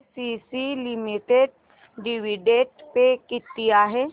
ACC limited dividend पे किती आहे